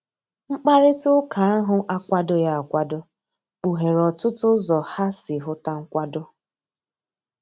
Mkpakarita ụka ahu akwadoghi akwado, kpuhere otụtụ ụzọ ha si huta nkwado.